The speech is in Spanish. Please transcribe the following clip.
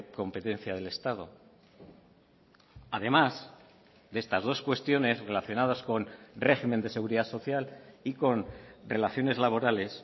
competencia del estado además de estas dos cuestiones relacionadas con régimen de seguridad social y con relaciones laborales